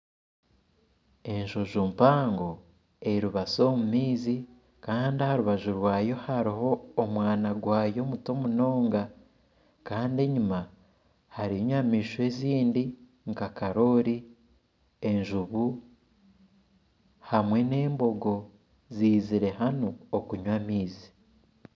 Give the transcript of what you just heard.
Enjojo mpango eribatsi omu maizi, kandi aha rubaju rwayo hariho omwana gwayo omuto munonga. Kandi enyima hariyo enyamaishwa ezindi nka karooli , enjubu, hamwe n'embogo ziizire hamwe okunywa amaizi.